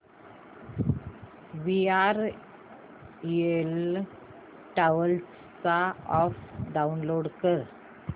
VRL travels चा app download कर